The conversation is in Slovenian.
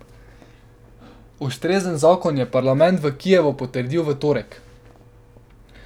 Ustrezen zakon je parlament v Kijevu potrdil v torek.